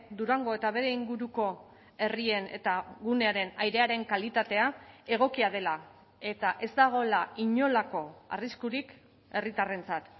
durango eta bere inguruko herrien eta gunearen airearen kalitatea egokia dela eta ez dagoela inolako arriskurik herritarrentzat